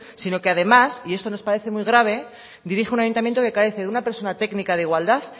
sino que además y esto nos parece muy grave dirige un ayuntamiento que carece de una persona técnica de igualdad